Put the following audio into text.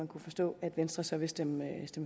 kunne forstå at venstre så vil stemme